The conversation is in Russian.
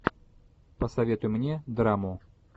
посоветуй мне драму